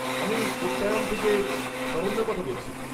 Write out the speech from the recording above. -আমি কোট্টায়াম থেকে শরণ্যা কথা বলছি।